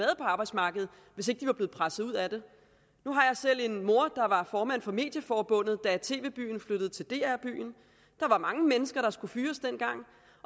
arbejdsmarkedet hvis ikke de var blevet presset ud af det nu har jeg selv en mor der var formand for medieforbundet da tv byen flyttede til dr byen der var mange mennesker der skulle fyres dengang